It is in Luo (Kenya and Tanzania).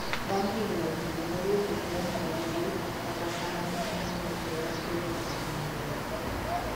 Bang' higni ochiko nowuoke keny no gi lit kata kamano chunye nokwere ni kenyno okneber